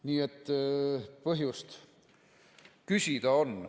Nii et põhjust küsida on.